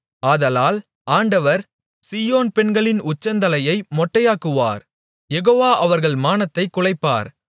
ஆதலால் ஆண்டவர் சீயோன் பெண்களின் உச்சந்தலையை மொட்டையாக்குவார் யெகோவா அவர்கள் மானத்தைக் குலைப்பார்